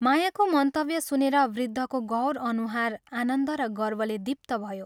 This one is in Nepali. मायाको मन्तव्य सुनेर वृद्धको गौर अनुहार आनन्द र गर्वले दीप्त भयो।